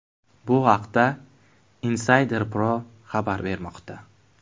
Bu haqda Insider Pro xabar bermoqda .